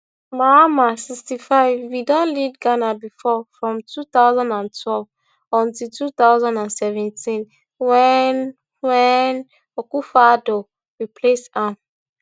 mahama sixty-five bin don lead ghana bifor from two thousand and twelve until two thousand and seventeen wen wen akufoaddo replace am